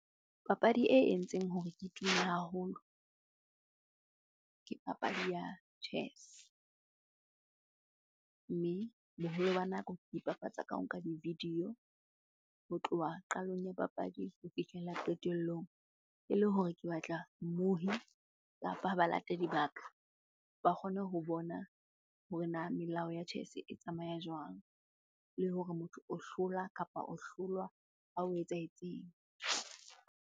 Papadi e entseng hore ke tume haholo, ke papadi ya chess. Mme boholo ba nako ke ipapatsa ka ho nka di-video ho tloha qalong ya papadi ho fihlela qetellong. Ele hore ke batla mmohi kapa balatedi ba ka, ba kgone ho bona hore na melao ya chess e tsamaya jwang? Le hore motho o hlola kapa o hlolwa ha ho etsahetseng.